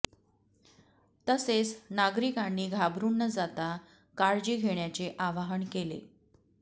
तसेच नागरीकांनी घाबरुन न जाता काळजी घेण्याचे आवाहन केले